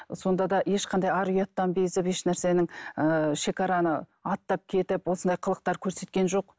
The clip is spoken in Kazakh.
сонда да ешқандай ар ұяттан безіп еш нәрсенің ыыы шегараны аттап кетіп осындай қылықтар көрсеткен жоқ